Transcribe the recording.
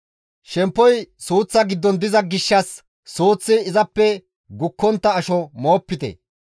Shemppoy suuththa giddon diza gishshas suuththi izappe gukkontta asho moopite.